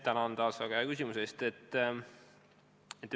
Tänan taas väga hea küsimuse eest!